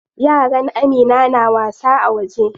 Yaran Amina na wasa a waje.